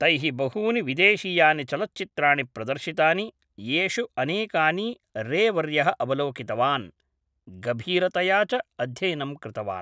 तैः बहूनि विदेशीयानि चलच्चित्राणि प्रदर्शितानि, येषु अनेकानि रे वर्यः अवलोकितवान्, गभीरतया च अध्ययनं कृतवान्।